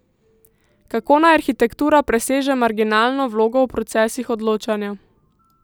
Kako naj arhitektura preseže marginalno vlogo v procesih odločanja?